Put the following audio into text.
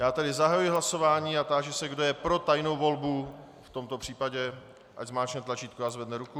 Já tedy zahajuji hlasování a táži se, kdo je pro tajnou volbu v tomto případě, ať zmáčkne tlačítko a zvedne ruku.